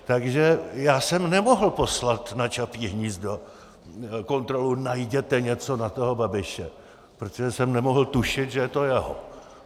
Takže já jsem nemohl poslat na Čapí hnízdo kontrolu, najděte něco na toho Babiše, protože jsem nemohl tušit, že je to jeho.